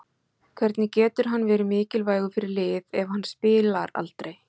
Hvernig getur hann verið mikilvægur fyrir lið ef hann spilar aldrei?